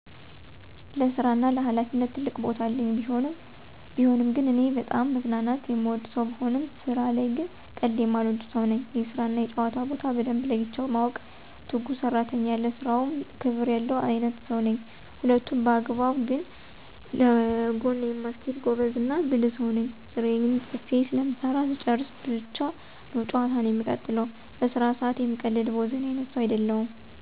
ለስራ እና ለሀላፊነት ትልቅ ቦታ አለኝ። ቢሆንም ግን እኔ በጣም መዝናናት የምወድ ሰው ብሆንም ስራ ላይ ግን ቀልድ የማልወድ ሰው ነኝ። የስራ እና የጨዋታ ቦታ በደንብ ለይቼ ማውቅ፤ ትጉህ ሰራተኝ፤ ለስራው ክብር ያለው አይነትሰው ነኝ። ሁለቱንም በአግባብ ግን ለጎን የማስኬድ ጎበዝ እና ብልህ ሰው ነኝ። ስራየን ፅፌ ስለምሰራ ስጨርስ ብቻ ነው ጨዋታን የምቀጥለው። በስራ ሰአት የምቀልድ ቦዘኔ አይነት ሰው አይደለሁም።